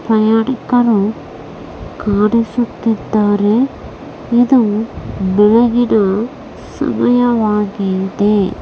ಆಯೋಡಿಕರು ಕಾಡಿಸುತ್ತಿದ್ದಾರೆ ಇದು ಬೆಳಗಿನ ಸಮಯವಾಗಿದೆ .